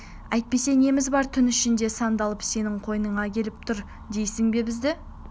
әйтпесе неміз бар түн ішінде сандалып сенің қойныңа келіп тұр дейсің бе бізді